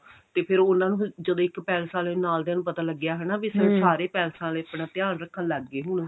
ਤੇ ਫੇਰ ਉਹਨਾ ਨੂੰ ਜਦੋਂ ਇੱਕ palace ਆਲਿਆਂ ਨੂੰ ਨਾਲ ਦੇ ਨੂੰ ਪਤਾ ਲੱਗਿਆ ਵੀ ਹਨਾ ਵੀ ਸਾਰੇ ਪੈਲਸਾਂ ਵਾਲੇ ਆਪਣਾ ਧਿਆਨ ਰੱਖਣ ਲੱਗ ਗਏ